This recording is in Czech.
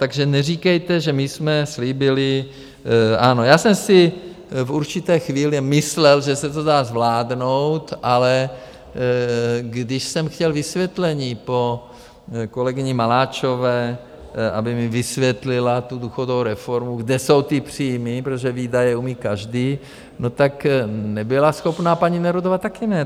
Takže neříkejte, že my jsme slíbili - ano, já jsem si v určité chvíli myslel, že se to dá zvládnout, ale když jsem chtěl vysvětlení po kolegyni Maláčové, aby mi vysvětlila tu důchodovou reformu, kde jsou ty příjmy, protože výdaje umí každý, no tak nebyla schopná, paní Nerudová taky ne.